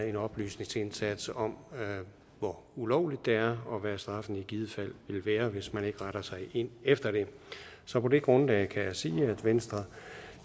en oplysningsindsats om hvor ulovligt det er og hvad straffen i givet fald vil være hvis man ikke retter sig efter det så på det grundlag kan jeg sige at venstre